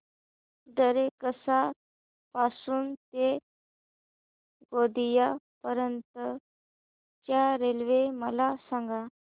दरेकसा पासून ते गोंदिया पर्यंत च्या रेल्वे मला सांगा